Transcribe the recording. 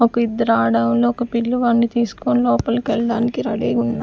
ఒక ఇద్దరు ఆడోళ్ళు ఒక పిల్లవాడిని తీసుకొని లోపలికి వెళ్ళడానికి రెడీగా ఉన్నా